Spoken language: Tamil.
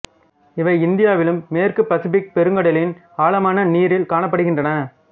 இவை இந்தியாவிலும் மேற்கு பசிபிக் பெருங்கடலின் ஆழமான நீரில் காணப்படுகின்றன